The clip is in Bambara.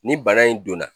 Ni bana in donna